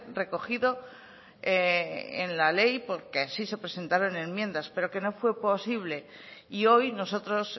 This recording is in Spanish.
recogido en la ley porque así se presentaron enmiendas pero que no fue posible y hoy nosotros